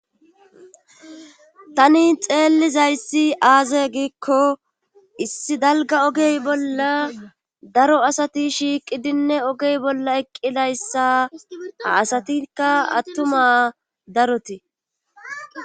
Tani xeellizayssi aaze giikko issi dalga ogey bolla daro asati shiiqidinne ogey bolla eqqidayssa a asatikka attuma darotii.